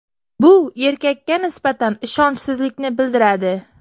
Bu erkakka nisbatan ishonchsizlikni bildiradi.